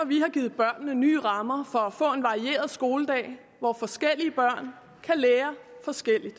vi har givet børnene nye rammer for at få en varieret skoledag hvor forskellige børn kan lære forskelligt